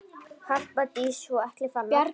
Harpa Dís og Atli Fannar.